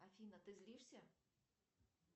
афина ты злишься